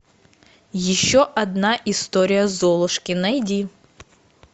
еще одна история золушки найди